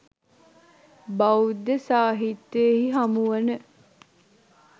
බෞද්ධ සාහිත්‍යයෙහි හමුවන